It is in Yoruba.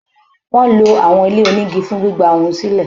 Wọ́n lo àwọn ilé-onígi fún gbígba ohun sílẹ̀.